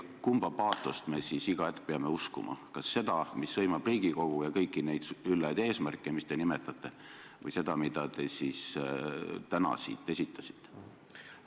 Kumba paatost me siis peame uskuma, kas seda, mis sõimab Riigikogu ja kõiki neid üllaid eesmärke, mida te nimetasite, või seda, mida te täna siit esitasite?